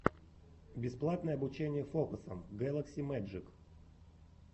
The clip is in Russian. бесплатное обучение фокусам гэлакси мэджик